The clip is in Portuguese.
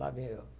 Lá vim eu.